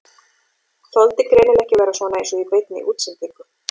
Þoldi greinilega ekki að vera svona eins og í beinni útsendingu.